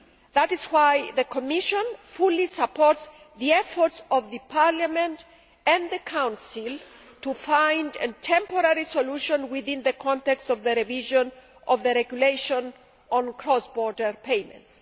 That is why the Commission fully supports the efforts of Parliament and the Council to find a temporary solution within the context of the revision of the Regulation on cross border payments.